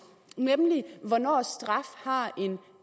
nemlig hvornår straf har en